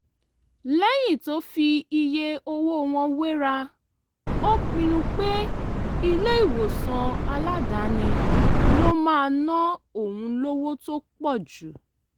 lẹ́yìn tó fi iye owó wọn wéra ó pinnu pé ilé-ìwòsàn aládàáni ló máa ná òun lówó tó pọ̀ jù